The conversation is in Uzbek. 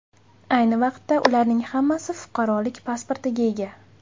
Ayni vaqtda ularning hammasi fuqarolik pasportiga ega.